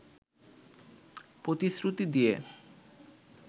প্রতিশ্রুতি দিয়ে